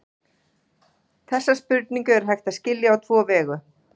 Þessa spurningu er hægt að skilja á tvo vegu.